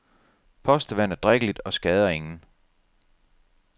Postevand er drikkeligt og skader ingen.